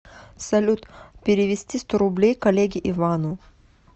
салют перевести сто рублей коллеге ивану